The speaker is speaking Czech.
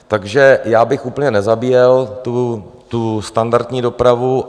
Takže já bych úplně nezabíjel tu standardní dopravu.